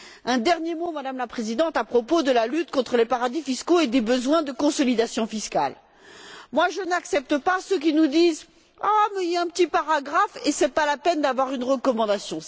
Un dernier mot, Madame la Présidente, à propos de la lutte contre les paradis fiscaux et des besoins de consolidation fiscale. Je n'accepte pas ceux qui nous disent Il y a un petit paragraphe et ce n'est pas la peine d'avoir une recommandation.